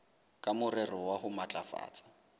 ka morero wa ho matlafatsa